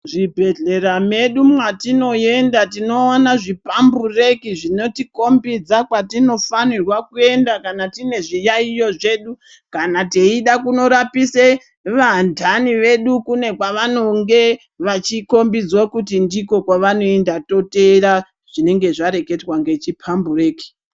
Zvibhehlera mwedu mwatinoenda tinoona zvipambureki zvinotikhombidza kwatinofanirwa kuenda kana tine zviyaiyo zvedu, kana teida kunorapise vantani vedu kune kwavanonge vachikhombidzwa kuti ndikwo kwavanoenda toteera zvinenge zvareketwa ngechiphambureki.